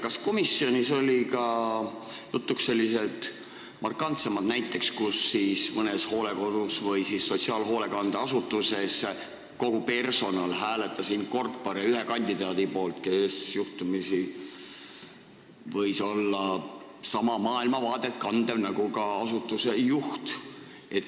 Kas komisjonis olid jutuks ka sellised markantsemad näited, kui mõnes hooldekodus või sotsiaalhoolekandeasutuses kogu personal hääletas in corpore ühe kandidaadi poolt, kes juhtumisi võis kanda sama maailmavaadet nagu asutuse juht?